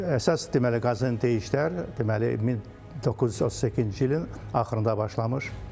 Əsas deməli qazıntı işlər deməli 1938-ci ilin axırında başlamış.